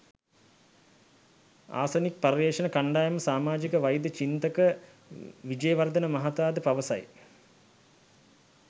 Arsenic පර්යේෂණ කණ්ඩායමේ සාමාජික වෛද්‍ය චින්තක විජේවර්ධන මහතාද පවසයි.